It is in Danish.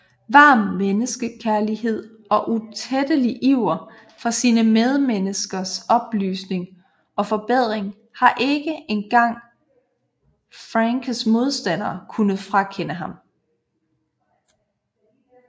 Varm menneskekærlighed og utrættelig iver for sine medmenneskers oplysning og forbedring har ikke engang Franckes modstandere kunnet frakende ham